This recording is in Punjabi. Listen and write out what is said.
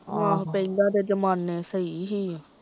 ਆਹੋ ਪਹਿਲਾਂ ਦੇ ਜਮਾਨੇ ਸਹੀ ਸੀ